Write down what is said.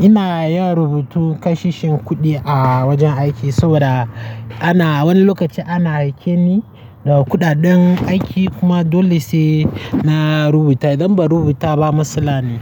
ina yin rubutu kashe shin kuɗi a wajen aiki saboda ana wani lokaci ana aike ni da kuɗaɗen aiki kuma dole sai na rubuta. Idan ba rubuta ba matsala ne.